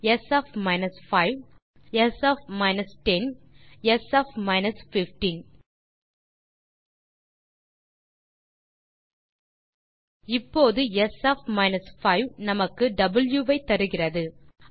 s minus 5 s minus 10 sminus 15 இப்போது s of 5 நமக்கு வாவ் ஐ தருகிறது